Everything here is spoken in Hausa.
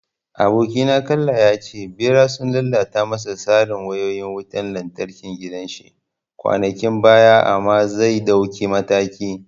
Abokina kalla ya ce Ɓera sun lalata masa tsarin wayoyin wutan lantarkin gidan shi kwanakin baya amma zai dauki mataki.